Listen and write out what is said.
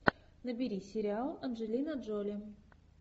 набери сериал анджелина джоли